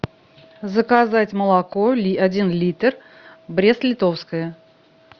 заказать молоко один литр брестлитовское